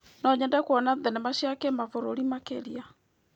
No nyende kuona thenema cia kĩmabũrũri makĩria.